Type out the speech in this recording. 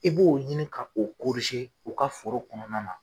I b'o ɲini ka o u ka foro kɔnɔna na.